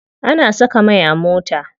Ana saka mai a mota.